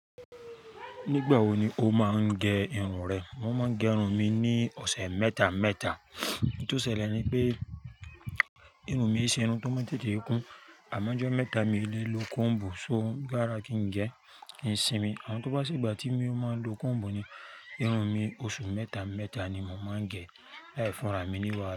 Nígbà wo ni o máa ń gẹ irun rẹ? Mo máa ń gẹ irun mi ní ọ̀sẹ̀ mẹ́ta mẹ́ta. Ohun tó ṣẹlẹ̀ ni pé irun mi e ṣé irun tó máa ń tẹ́tẹ́ kun. Àmọ́ ọjọ́ mẹ́ta mi lè lo combu so gára kí n gẹ kí n sinmi. Àn tó bá sí ìgbà tí mo máa ń lo combu ni, irun mi oṣù mẹ́ta mẹ́ta ni mo máa ń gẹ láì fúnra mi níwà.